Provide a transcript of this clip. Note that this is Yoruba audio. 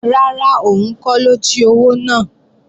Rárá, òun kọ́ ló jí owó náà